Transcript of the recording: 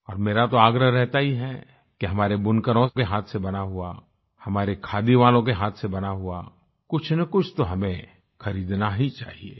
और मेरा तो आग्रह रहता ही है कि हमारे बुनकरों के हाथ से बना हुआ हमारे खादी वालो के हाथ से बना हुआ कुछनकुछ तो हमें खरीदना ही चाहिए